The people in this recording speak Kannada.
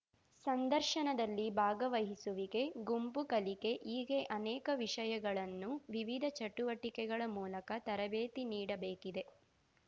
ಸಂದರ್ಶನದಲ್ಲಿ ಭಾಗವಹಿಸುವಿಕೆ ಗುಂಪು ಕಲಿಕೆ ಹೀಗೆ ಅನೇಕ ವಿಷಯಗಳನ್ನು ವಿವಿಧ ಚಟುವಟಿಕೆಗಳ ಮೂಲಕ ತರಬೇತಿ ನೀಡಬೇಕಿದೆ